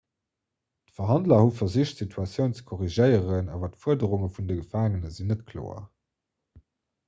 d'verhandler hu versicht d'situatioun ze korrigéieren awer d'fuerderunge vun de gefaangene sinn net kloer